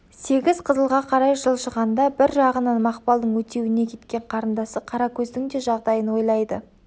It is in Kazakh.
сегіз қызылға қарай жылжығанда бір жағынан мақпалдың өтеуіне кеткен қарындасы қаракөздің де жағдайын ойлайды